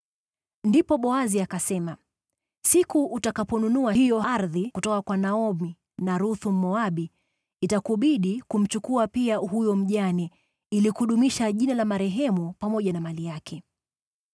Ndipo Boazi akasema “Siku utakaponunua hiyo ardhi kutoka kwa Naomi na Ruthu, Mmoabu, itakubidi kumchukua pia huyo mjane, ili kudumisha jina la marehemu pamoja na mali yake.”